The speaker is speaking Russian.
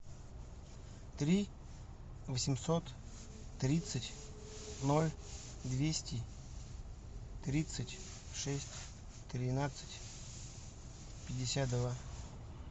три восемьсот тридцать ноль двести тридцать шесть тринадцать пятьдесят два